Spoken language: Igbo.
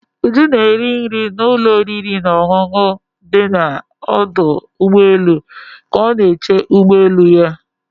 Ụjụ na-eri nri na ụlọ oriri na ọṅụṅụ dị na ọdụ ụgbọelu ka ọ na-eche ụgbọ elu ya.